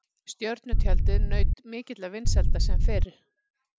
Stjörnutjaldið naut mikilla vinsælda sem fyrr.